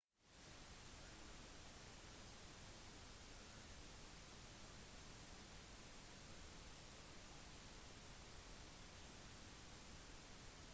dyr lever på tvers over planeten vår de graver seg ned i bakken svømmer i havet og flyr i himmelen